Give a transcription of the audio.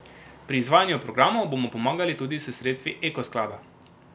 Pri izvajanju programov bomo pomagali tudi s sredstvi Eko sklada.